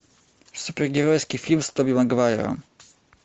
супергеройский фильм с тоби магуайром